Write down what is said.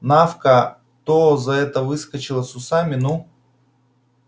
навка то за этого выскочила с усами ну